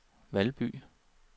Valby